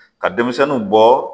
Ka denmisɛnninw bɔ